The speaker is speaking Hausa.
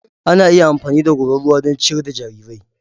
Ana iya amfani da goran ruwa don ciyar da jarirai.